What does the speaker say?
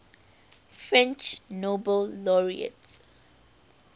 french nobel laureates